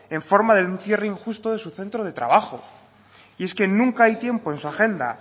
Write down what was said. en forma de un cierre injusto de su centro de trabajo y es que nunca hay tiempo en su agenda